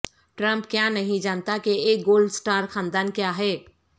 Trump کیا نہیں جانتا کہ ایک گولڈ سٹار خاندان کیا ہے